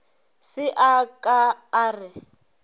se a ka a re